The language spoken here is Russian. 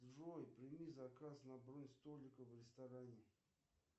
джой прими заказ на бронь столика в ресторане